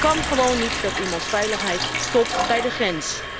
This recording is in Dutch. Het kan gewoon niet dat iemands veiligheid stopt bij de grens.